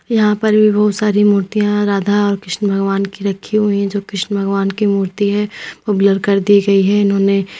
यहां पर भी बहुत सारी मूर्तियां राधा और कृष्ण भगवान की रखी हुई है जो कृष्ण भगवान की मूर्ती है वह ब्लर कर दी गई है इन्होंने--